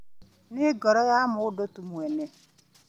Nĩ ngoro ya mũndũ tu mwene